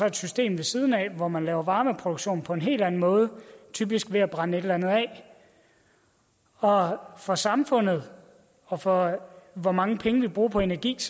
et system ved siden af hvor man laver varmeproduktion på en helt anden måde typisk ved at brænde et eller andet af og for samfundet og for hvor mange penge vi bruger på energi